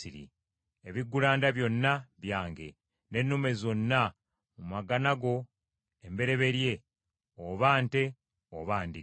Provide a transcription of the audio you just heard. “Ebiggulanda byonna byange, n’ennume zonna mu magana go embereberye, oba nte oba ndiga.